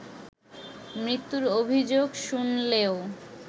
মৃত্যুর অভিযোগ শুনলেও